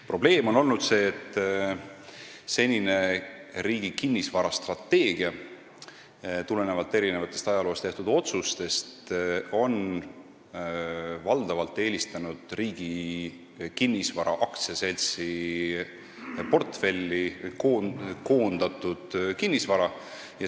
Probleem on olnud see, et senine riigi kinnisvarastrateegia on tulenevalt erinevatest ajaloo jooksul tehtud otsustest valdavalt eelistanud Riigi Kinnisvara AS-i portfelli koondatud kinnisvara.